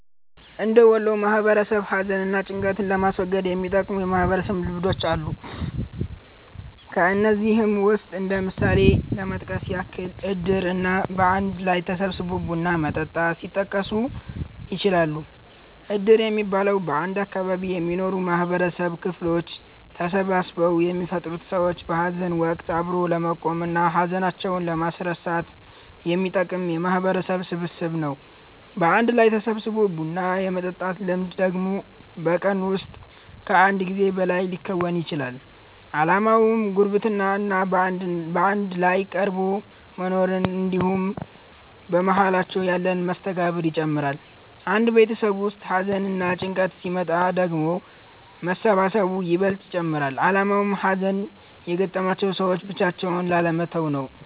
እንደ ወሎ ማህበረሰብ ሀዘን እና ጭንቀትን ለማስወገድ የሚጠቅሙ የማህበረሰብ ልምዶች አሉ። ከነዚህም ውስጥ እንደ ምሳሌ ለመጥቀስ ያህል እድር እና በአንድ ላይ ተሰባስቦ ቡና መጠጣት ሊጠቀሱ ይችላሉ። እድር የሚባለው፤ በአንድ አካባቢ የሚኖሩ የማህበረሰብ ክፍሎች ተሰባስበው የሚፈጥሩት ሰዎችን በሀዘን ወቀት አብሮ ለመቆም እና ሀዘናቸውን ለማስረሳት የሚጠቅም የማህበረሰብ ስብስብ ነው። በአንድ ላይ ተሰባስቦ ቡና የመጠጣት ልምድ ደግሞ በቀን ውስጥ ከአንድ ጊዜ በላይ ሊከወን ይችላል። አላማውም ጉርብትና እና በአንድ ላይ ተቀራርቦ መኖርን እንድሁም በመሃላቸው ያለን መስተጋብር ይጨምራል። አንድ ቤተሰብ ውስጥ ሀዘንና ጭንቀት ሲመጣ ደግሞ መሰባሰቡ ይበልጥ ይጨመራል አላማውም ሀዘን የገጠማቸውን ሰዎች ብቻቸውን ላለመተው ነው።